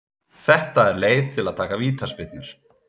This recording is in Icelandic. Þetta er leið til að taka vítaspyrnur.